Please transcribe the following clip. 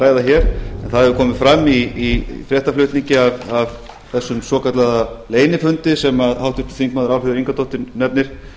ræða hér en það hefur komið fram í fréttaflutningi af þessum svokallaða leynifundi sem háttvirtir þingmenn álfheiður ingadóttir nefnir